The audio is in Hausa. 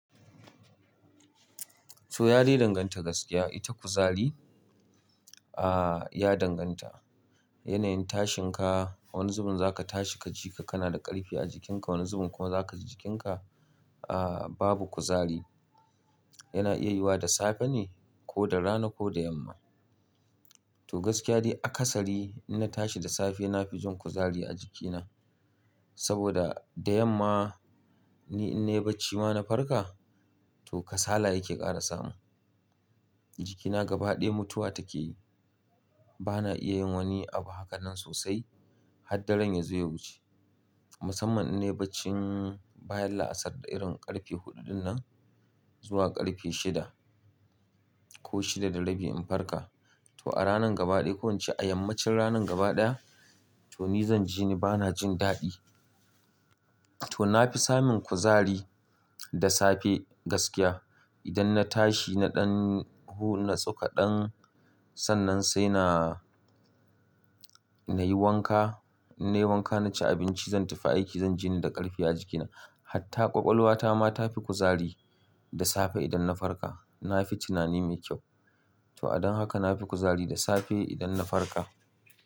To, yadai danganta gaskiya ita kuzari, ah, ya danganta yanayin tashin ka. Wani zubin zaka tashi kajika kanada ƙarfi a jikinka, wani zubin kuwa zakaji jikinka, ah, babu kuzari. Yana iya yiyuwa da safe ne ko da rana ko da yamma. To gaskiya dai akasari inna tashi da safe nafi jin kuzari a jikina saboda da yamma ni in nayi bacci ma na farka to kasala yake ƙara samu. Jikina gaba ɗaya mutuwa take yi. Bana iya yin wani abu hakanan sosai haddaren ya zo yawuce. Musamman innayi baccin bayan la'asar da irin ƙarfe huɗu dinnan zuwa ƙarfe shida ko shida da rabi in farka to a ranan gaba ɗaya ko ince a yammacin ranan gaba ɗaya to ni zanji ni bana jin daɗi. To na fi samun kuzari da safe gaskiya. Idan na tashi na ɗan huna tsoka ɗan sannan saina, nayi wanka, in nayi wanka na ci abinci zan tafi aiki zan jini da ƙarfi a jikina. Hatta ƙwaƙwalwata ma ta fi kuzari da safe idan na farka. Na fi tunani mai kyau. To a don haka nafi kuzari da safe idan na farka.